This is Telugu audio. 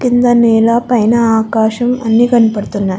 కింద నేల పైన ఆకాశం అన్నీ కనపడుతున్నాయ్.